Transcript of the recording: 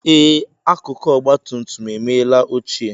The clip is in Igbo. Ee, akụkụ ọgba tum tum emela ochie